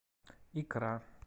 икра